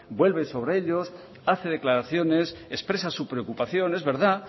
vuelve sobre ellos hace declaraciones expresasu preocupación es verdad